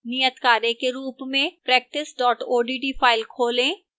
नियतकार्य के रूप में